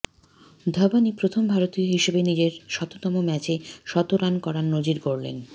ধবনই প্রথম ভারতীয় হিসেবে নিজের শততম ম্যাচে শতরান করার নজির গড়লেন